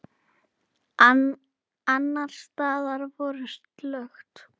Annars staðar var slökkt.